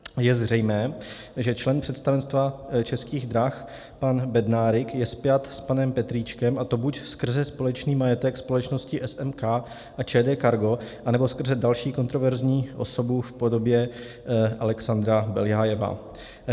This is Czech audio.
Je zřejmé, že člen představenstva Českých drah pan Bednárik je spjat s panem Petríčkem, a to buď skrze společný majetek společnosti SMK a ČD Cargo, anebo skrze další kontroverzní osobu v podobě Alexandra Beljajeva.